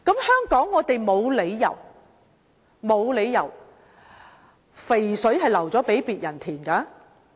香港沒有理由讓"肥水流向別人田"。